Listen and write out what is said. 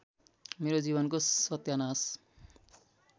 मेरो जीवनको सत्यानाश